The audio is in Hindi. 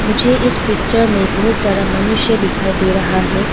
मुझे इस पिक्चर में बहुत सारा मनुष्य दिखाई दे रहा है।